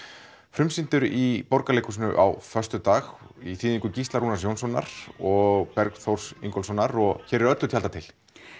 frumsýndur í Borgarleikhúsinu á föstudag í þýðingu Gísla Rúnars Jónssonar og Bergþórs Ingólfssonar og hér eru öllu tjaldað til